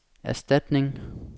erstatning